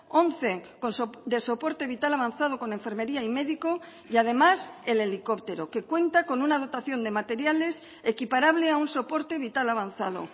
once de soporte vital avanzado con enfermería y médico y además el helicóptero que cuenta con una dotación de materiales equiparable a un soporte vital avanzado